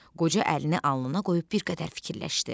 Qoca əlini alnına qoyub bir qədər fikirləşdi.